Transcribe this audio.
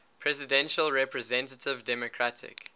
presidential representative democratic